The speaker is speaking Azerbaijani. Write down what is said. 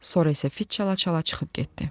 Sonra isə fit çala-çala çıxıb getdi.